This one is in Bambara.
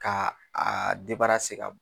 Ka aa ka b